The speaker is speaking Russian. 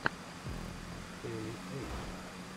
эли эй